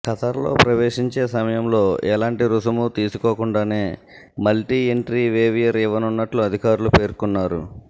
ఖతర్లో ప్రవేశించే సమయంలో ఎలాంటి రుసుము తీసుకోకుండానే మల్టీ ఎంట్రీ వేవియర్ ఇవ్వనున్నట్టు అధికారులు పేర్కొన్నారు